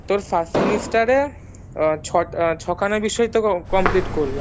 first semester এ ছয়টা ছখানা বিষয়তো complete করলাম